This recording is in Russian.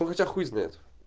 потому что хуй знает